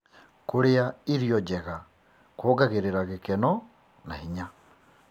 Kũrĩa irio njega kuongagĩrĩra gĩkeno na hinya.